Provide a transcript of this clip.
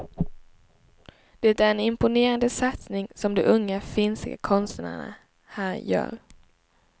Det är en imponerande satsning som de unga finska konstnärerna här gör.